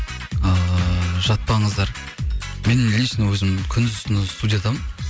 ыыы жатпаңыздар мен лично өзім күндіз түні студиядамын